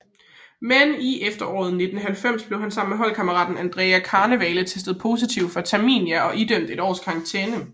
Men i efteråret 1990 blev han sammen med holdkammeraten Andrea Carnevale testet positiv for fentermina og idømt et års karantæne